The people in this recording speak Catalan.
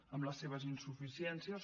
amb les seves insuficiències